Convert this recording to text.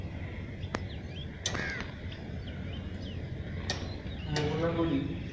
মোহনাগুলি